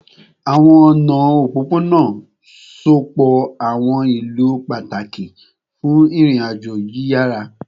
Awọn ọna opopona sopọ awọn ilu pataki fun irin-ajo yiyara